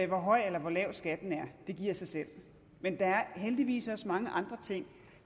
høj eller lav skatten er det giver sig selv men der er heldigvis også mange andre ting